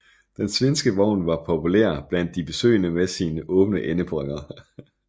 Den svenske vogn var populær blandt de besøgende med sine åbne endeperroner